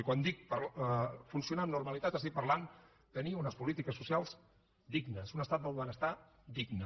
i quan dic funcionar amb normalitat estic parlant de tenir unes polítiques socials dignes un estat del benestar digne